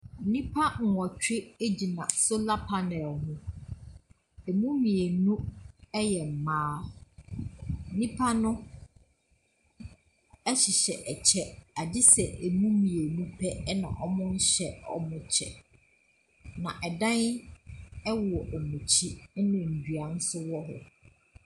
Nnipa nwotwe agyina solar panel ho, emu mmienu ɛyɛ mmaa nnipa no ɛhyehyɛ ɛkyɛ gyesɛ emu mmienu pɛ na wɔmmɔ ɛnhyɛ ɔmo kyɛ. Na ɛdan ɛwɔ ɔmo akyi ɛna nnua so wo ho.